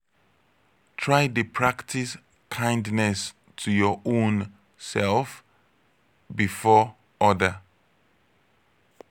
try de practice kindness to your own self before other